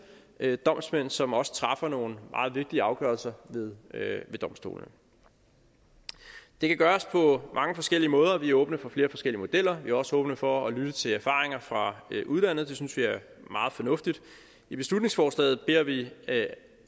bliver udpeget domsmænd som også træffer nogle meget vigtige afgørelser ved domstolene det kan gøres på mange forskellige måder og vi er åbne for flere forskellige modeller vi er også åbne for at lytte til erfaringer fra udlandet det synes vi er meget fornuftigt i beslutningsforslaget beder vi